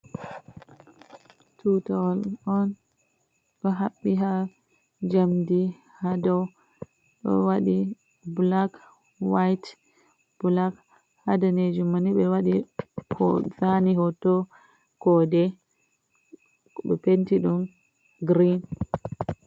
Tuutawol un ɗo haɓɓi ha jamdi, ha dau do wadi black-white-black ha danejum man ni ɓe wadi__ zani hoto koode, ɓe penti dum green.